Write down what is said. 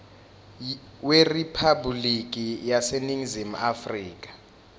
weriphabhuliki yaseningizimu afrika